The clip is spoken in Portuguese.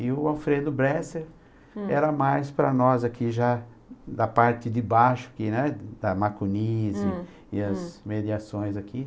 E o Alfredo Bresser, hm, era mais para nós aqui já da parte de baixo que né, da macunis, e as mediações aqui.